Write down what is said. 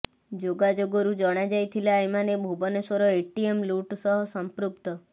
ଯୋଗାଯୋଗରୁ ଜଣାଯାଇଥିଲା ଏମାନେ ଭୁବନେଶ୍ବର ଏଟିଏମ ଲୁଟ ସହ ସଂପୃକ୍ତ